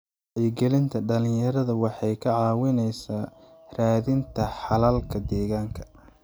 Wacyigelinta dhalinyarada waxay ka caawisaa raadinta xalalka deegaanka.